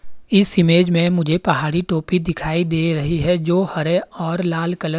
इस इमेज में मुझे पहाड़ी टोपी दिखाई दे रही है जो हरे और लाल कलर --